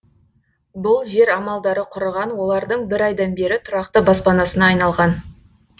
бұл жер амалдары құрыған олардың бір айдан бері тұрақты баспанасына айналған